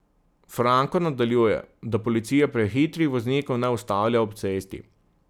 Franko nadaljuje, da policija prehitrih voznikov ne ustavlja ob cesti.